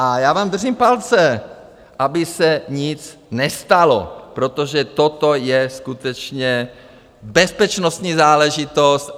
A já vám držím palce, aby se nic nestalo, protože toto je skutečně bezpečnostní záležitost.